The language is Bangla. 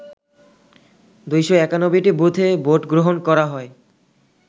২৯১টি বুথে ভোটগ্রহণ করা হয়